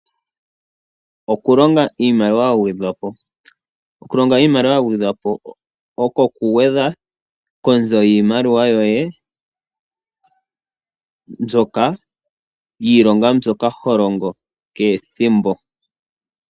Oku longo iimaliwa yagedhwa po, oku longa iimaliwa yagedhwa po oko oku gwedha konzo yiimaliwa yoye mbyoka yiilonga mbyoka holongo kehe ethimbo.